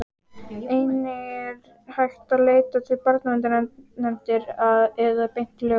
Einnig er hægt að leita til barnaverndarnefndar eða beint til lögreglu.